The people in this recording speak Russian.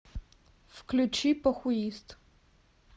включи похуист